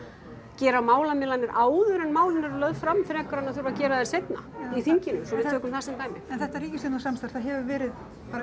gera málamiðlanir áður en málin eru lögð fram frekar en að þurfa að gera þær seinna í þinginu svo við tökum það sem dæmi en þetta ríkisstjórnarsamstarf það hefur verið